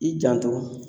I janto